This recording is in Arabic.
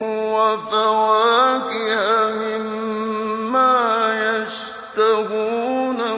وَفَوَاكِهَ مِمَّا يَشْتَهُونَ